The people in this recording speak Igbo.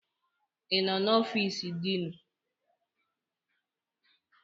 Ị nọ n'ọfiisu diinu?